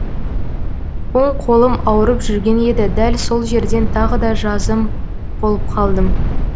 оң қолым ауырып жүрген еді дәл сол жерден тағы да жазым болып қалдым